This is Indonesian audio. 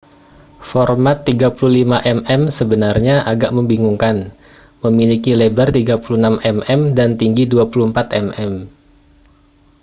format 35 mm sebenarnya agak membingungkan memiliki lebar 36 mm dan tinggi 24 mm